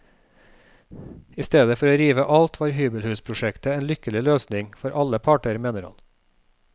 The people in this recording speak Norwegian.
I stedet for å rive alt var hybelhusprosjektet en lykkelig løsning, for alle parter, mener han.